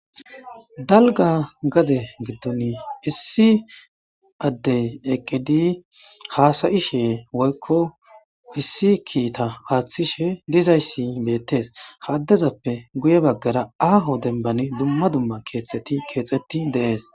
Dalig gade gidoni issi adde eqidi hasayishe woyikko issi kita atishe dizaysi betes ha addezappe guye bagara aho denibani dumma dumma keeththati kexeti deas.